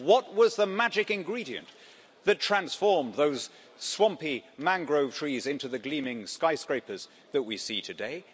What was the magic ingredient that transformed those swampy mangrove trees into the gleaming skyscrapers that we see today?